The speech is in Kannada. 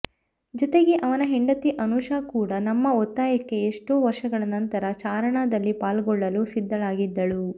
ಜತೆಗೆ ಅವನ ಹೆಂಡತಿ ಅನೂಷಾ ಕೂಡ ನಮ್ಮ ಒತ್ತಾಯಕ್ಕೆ ಎಷ್ಟೋ ವರ್ಷಗಳ ನಂತರ ಚಾರಣದಲ್ಲಿ ಪಾಲ್ಗೊಳ್ಳಲು ಸಿದ್ಧಳಾಗಿದ್ದಳು